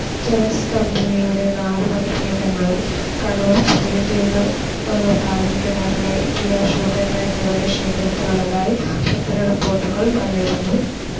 ജലസ്തംഭിനിയുടെ നാലു വകഭേദങ്ങളും കണ്ണൂർ പുതിയതെരു ബാലൻകിണറിലെ പി അശോകൻ വൈദ്യരുടെ ശേഖരത്തിലുള്ളതായി പത്ര റിപ്പോർട്ടുകൾ വന്നിരുന്നു.